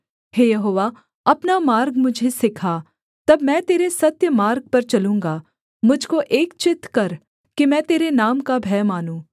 हे यहोवा अपना मार्ग मुझे सिखा तब मैं तेरे सत्य मार्ग पर चलूँगा मुझ को एक चित्त कर कि मैं तेरे नाम का भय मानूँ